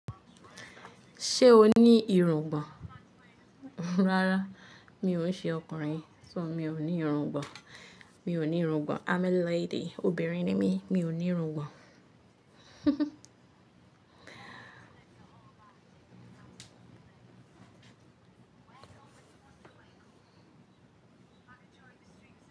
Sè o nì irungbón. Rárá, mi ò ṣe ọkùnrin, so mi ò ní irungbọ̀n. Mi ò ní irungbọ̀n. I'm a lady, obìnrin ni mí, mi ò ní irungbọ̀n.